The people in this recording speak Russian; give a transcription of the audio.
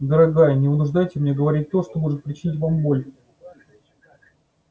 дорогая не вынуждайте меня говорить то что может причинить вам боль